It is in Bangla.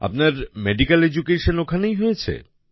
আপনার মেডিক্যাল এডুকেশন ওখানেই হয়েছে